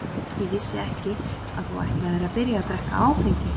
Ég vissi ekki að þú ætlaðir að byrja að drekka áfengi.